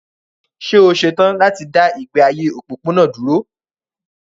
Ṣé o ṣe tán láti dá ìgbé ayé òpópónà dúró?